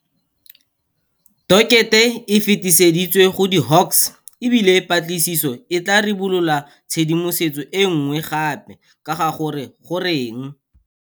Dokete e fetiseditswe go di Hawks, e bile patlisiso e tla ribolola tshedimosetso e nngwe gape ka ga gore goreng.